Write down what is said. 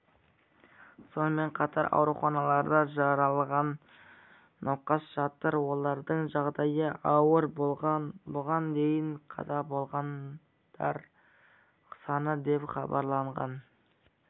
сонымен қатар ауруханаларда жараланған науқас жатыр олардың жағдайы ауыр бұған дейін қаза болғандар саны деп хабарланған